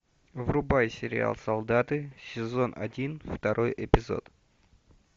врубай сериал солдаты сезон один второй эпизод